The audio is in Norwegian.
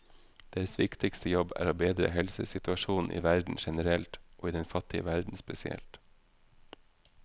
Deres viktigste jobb er å bedre helsesituasjonen i verden generelt, og i den fattige verden spesielt.